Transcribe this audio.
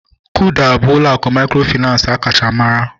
Kuda bụ ụlọ akụ mikrofinansi akacha mara